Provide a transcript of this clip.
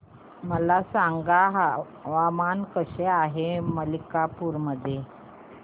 मला सांगा हवामान कसे आहे मणिपूर मध्ये